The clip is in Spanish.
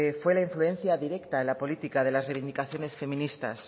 fue la influencia directa en la política de las reivindicaciones feministas